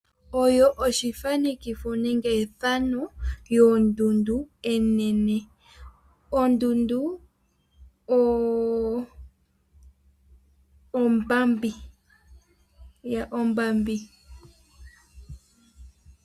Oyo oshithanekitho nenge ethano yondundu enene, ondundu ombambi.